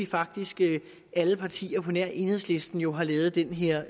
faktisk alle partier på nær enhedslisten jo har lavet den her